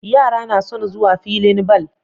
Yara nason zuwa filin ball